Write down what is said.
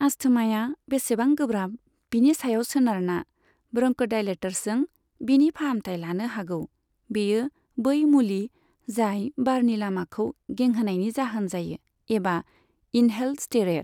आस्थमाया बेसेबां गोब्राब, बिनि सायाव सोनारना, ब्रन्क'डायलेटर्सजों बिनि फाहामथाइ लानो हागौ, बेयो बै मुलि जाय बारनि लामाखौ गेंहोनायनि जाहोन जायो, एबा इनहेल्ड स्टेर'येड।